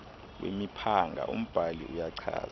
wemiphanga umbhali uyachaza